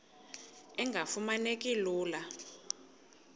engafuma neki lula